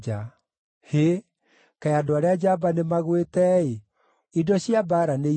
“Hĩ, kaĩ andũ arĩa njamba nĩmagwĩte-ĩ! Indo cia mbaara nĩithirĩte!”